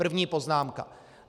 První poznámka.